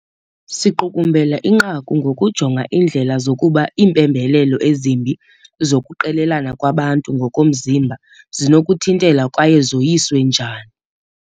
Siqukumbela inqaku ngokujonga indlela zokuba iimpembelelo ezimbi zokuqelelana kwabantu ngokomzimba zinokuthintelwa kwaye zoyiswe njani.